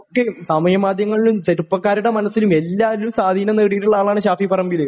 സാമൂഹ്യ മാധ്യമങ്ങളിലും ചെറുപ്പക്കാരുടെ മനസ്സിലും എല്ലാരും സ്വാധീനം നേടിയിട്ടുള്ള ആളാണ് ഷാഫി പറമ്പില്